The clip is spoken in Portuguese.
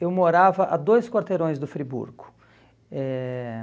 Eu morava a dois quarteirões do Friburgo. Eh